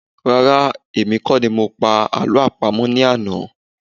Rárá́, èmi kọ́ ni mo pa àlọ́ àpamọ̀ ní àná.